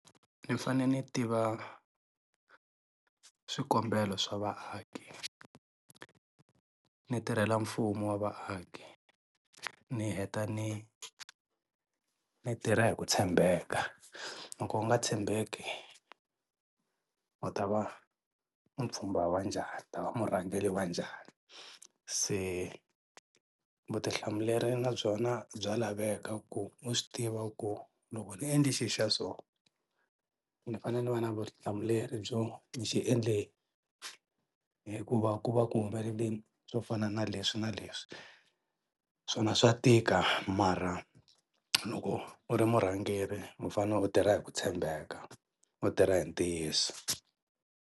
Ni fane ni tiva swikombelo swa vaaki, ni tirhela mfumo wa vaaki, ni heta ni ni tirha hi ku tshembeka, loko u nga tshembeki u ta va mupfhumba wa njhani u ta va murhangeri wa njhani? Se vutihlamuleri na byona bya laveka ku u swi tiva ku loko ni endli xi xa so ndzi fanele ni va na vutihlamuleri byo ni xi endle hi ku va ku va ku humelele yini swo fana na leswi na leswi swona swa tika mara loko u ri murhangeri mu fane u tirha hi ku tshembeka, u tirha hi ntiyiso.